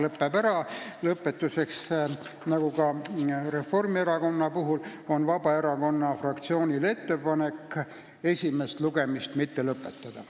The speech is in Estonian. Lõpetuseks ütlen, et nagu Reformierakonna fraktsioonil on ka Vabaerakonna fraktsioonil ettepanek esimest lugemist mitte lõpetada.